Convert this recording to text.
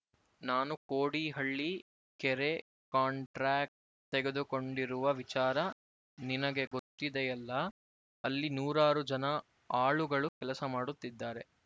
ನಾನು ಕೋಡಿಹಳ್ಳಿ ಕೆರೆ ಕಂಟ್ರಾಕ್ಟ್ ತೆಗೆದುಕೊಂಡಿರುವ ವಿಚಾರ ನಿನಗೆ ಗೊತ್ತಿದೆಯಲ್ಲ ಅಲ್ಲಿ ನೂರಾರು ಜನ ಆಳುಗಳು ಕೆಲಸ ಮಾಡುತ್ತಿದ್ದಾರೆ